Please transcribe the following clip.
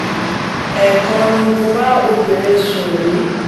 ẹ̀ẹ̀kan ni mo bá obìnrin sùn rí